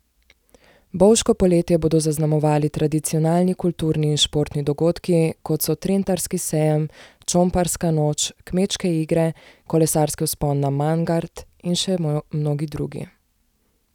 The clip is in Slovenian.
Bovško poletje bodo zaznamovali tradicionalni kulturni in športni dogodki kot so Trentarski sejem, Čomparska noč, Kmečke igre, Kolesarski vzpon na Mangart in še mnogi drugi.